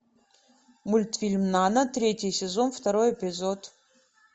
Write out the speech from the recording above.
мультфильм нана третий сезон второй эпизод